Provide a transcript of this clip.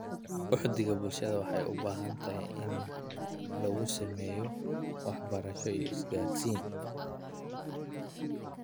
Uhdhigga bulshada waxay u baahan tahay in lagu sameeyo waxbarasho iyo isgaarsiin.